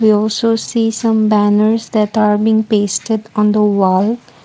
We also see some banners that are being pasted on the wall.